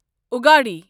اُگاڑی